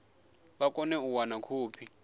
vha kone u wana khophi